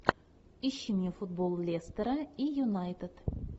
ищи мне футбол лестера и юнайтед